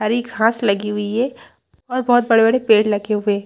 सारी घांस लगी हुई है और बहुत बड़े-बड़े पेड़ लगे हुए हैं।